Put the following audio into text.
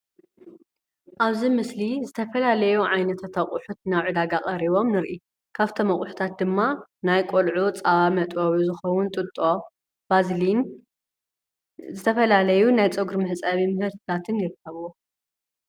ኣብዚ ምስሊ ዝተፈላላዩ ዓይነታት ኣቑሑት ናብ ዕዳጋ ቀሪቦም ንርኢ። ካብቶም ኣቁሕታት ድማ ናይ ቆልዑ ፃባ መጥበዊ ዝኸውን ጥጦ ፣ባዝሊን ዝተፈላለዩ ናይ ፀጉሪ መሕፀቢ ምህርቲታትን ይርከብዎ።